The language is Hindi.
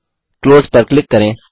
क्लोज पर क्लिक करें